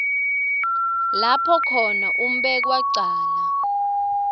lapho khona umbekwacala